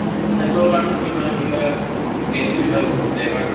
সিহঁতৰ কাৰণেও কিবা কিবা benefit হয় মোৰ মতে, কাৰণ